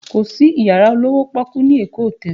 Kò sí yàrá olówó pọ́ọ́kú ní Èkó hotel